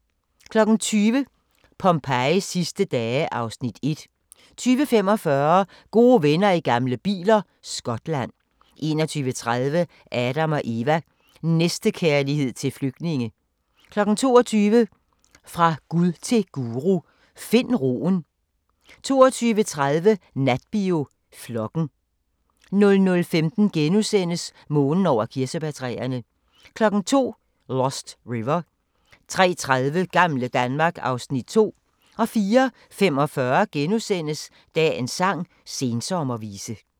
20:00: Pompejis sidste dage (Afs. 1) 20:45: Gode venner i gamle biler – Skotland 21:30: Adam & Eva: Næstekærlighed til flygtninge 22:00: Fra Gud til Guru: Find roen 22:30: Natbio: Flokken 00:15: Månen over kirsebærtræerne * 02:00: Lost River 03:30: Gamle Danmark (Afs. 2) 04:45: Dagens sang: Sensommervise *